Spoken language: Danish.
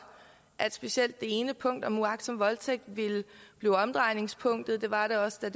at specielt det ene punkt om uagtsom voldtægt ville blive omdrejningspunktet det var det også da